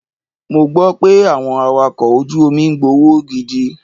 Mo gbọ́ pé àwọn Awakọ̀ ojú omi ń gbowó gidi.